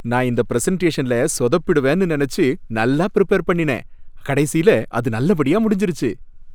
நான் இந்த பிரசன்டேஷன்ல சொதப்பிடுவேன்னு நினைச்சு நல்லா பிரிபேர் பண்ணினேன், கடைசியில அது நல்ல படியா முடிஞ்சிருச்சு.